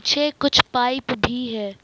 पीछे कुछ पाइप भी है।